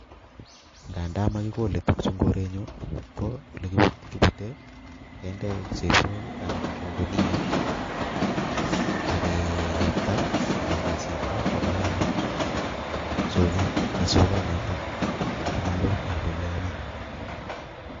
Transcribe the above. Ngadamakikolei tuguchu eng korenyu, ko ole kibatei kende sesiok anan ko guniet akeyapta anan kesipto koba soket, ne sokonato komaloo eng olomi.